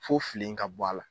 Fo filen ka bɔ a la.